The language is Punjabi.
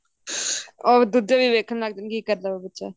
ਦੂਜੇ ਵੀ ਦੇਖਣ ੱਗ ਜਾਂਦੇ ਨੇ ਕੀ ਕਰਦਾ ਬੱਚਾ